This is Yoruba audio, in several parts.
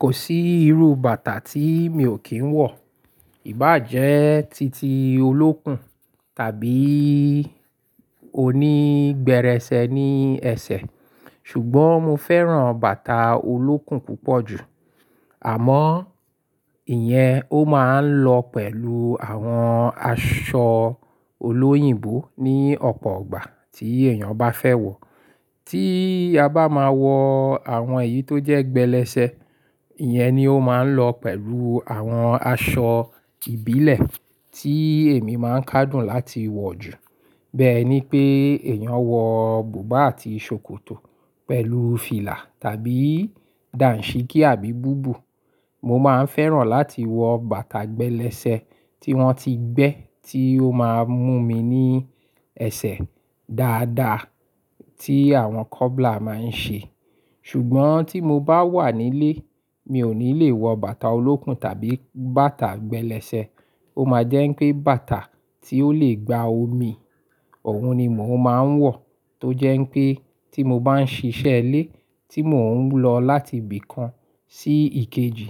Kò sí irú bàtà tí mi ò kí ń wọ̀, ìbá jẹ́ títí olókùn tàbí oní gbẹrẹsẹ ni ẹsẹ̀. Ṣùgbọ́n mo fẹ́ràn bàtà olókùn púpọ̀ jù. Àmọ́, ìyẹn ó máa ń lọ pẹ̀lú àwọn aṣọ olóyìnbó ní ọ̀pọ̀ ọgbà tí èèyàn bá fẹ́ wọ̀. Tí a bá máa wọ àwọn èyí tó jẹ́ gbẹlẹsẹ, ìyẹn ni ó máa ń lọ pẹ̀lú àwọn aṣọ ìbílẹ̀ tí èmi máa ń ká dùn láti wọ̀ jù. Bẹ́ẹ́ ni pé èèyàn wọ bùbá àti ṣòkòtò pẹ̀lú fìlà tàbí dàǹṣíkí àbí búbù. Mo máa ń fẹ́ràn láti wọ bàtà gbẹlẹsẹ tí wọ́n ti gbẹ́ tí ó máa ń mú mi ní ẹsẹ̀ dáadáa tí àwọn cobbler máa ń ṣe. Ṣùgbọ́n tí mo bá wà nílé, mi ò ní le wọ bàtà olókùn tàbí bàtà gbẹlẹsẹ. Ó máa jẹ́ pé bàtà tí ó le gba omi, ọ̀wọ́n ni mò ń máa ń wọ̀. Tó jẹ́ pé tí mo bá ń ṣiṣẹ́ ilẹ́, tí mò ń lọ láti ibì kan sí ìkejì,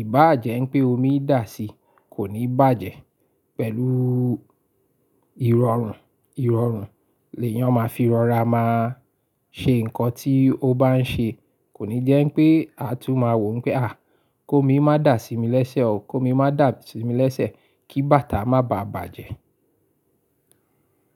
ìbá jẹ́ pé omi dà si kò ní bàjẹ́ pẹ̀lú ìrọ̀rùn. Ìrọ̀rùn lè yàn máa fi rọra máa ṣe nǹkan tí ó bá ń ṣe. Kò ní jẹ́ pé a tún máa wò ó pé, àí ko mi má dà sí mi lẹ́sẹ̀ o, ko mi má dà sí mi lẹ́sẹ̀ kí bàtà má bà bàjẹ́.